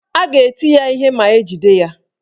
A ga-eti ya ihe ma ejide ya.